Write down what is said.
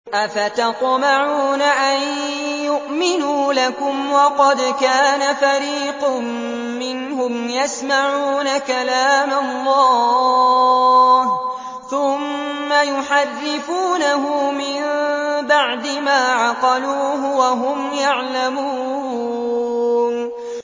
۞ أَفَتَطْمَعُونَ أَن يُؤْمِنُوا لَكُمْ وَقَدْ كَانَ فَرِيقٌ مِّنْهُمْ يَسْمَعُونَ كَلَامَ اللَّهِ ثُمَّ يُحَرِّفُونَهُ مِن بَعْدِ مَا عَقَلُوهُ وَهُمْ يَعْلَمُونَ